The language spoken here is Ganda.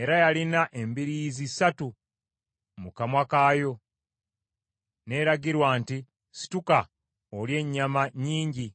era yalina embiriizi ssatu mu kamwa kaayo, n’eragirwa nti, ‘Situka olye ennyama nnyingi.’